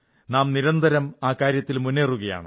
നാം നിരന്തരം ആ കാര്യത്തിൽ മുന്നേറുകയാണ്